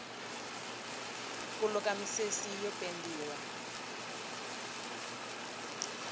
ku luka misisi yo pendiwa